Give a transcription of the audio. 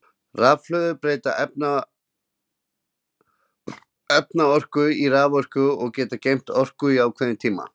Rafhlöður breyta efnaorku í raforku og geta geymt orku í ákveðin tíma.